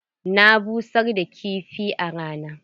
Na busar da kifi a rana.